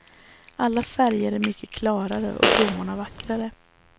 Alla färger är mycket klarare och blommorna vackrare.